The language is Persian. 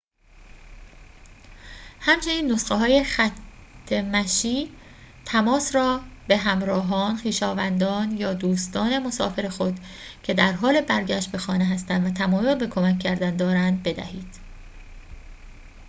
همچنین نسخه‌های خط مشی / تماس را به همراهان خویشاوندان یا دوستان مسافر خود که در حال برگشت به خانه هستند و تمایل به کمک کردن دارند بدهید